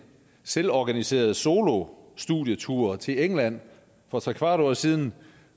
selvorganiseret solostudietur til england for trekvart år siden